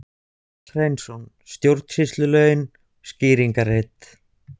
Páll Hreinsson: Stjórnsýslulögin, skýringarrit.